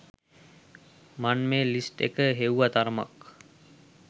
මන් මේ ලිස්ට් එක හෙව්ව තරමක්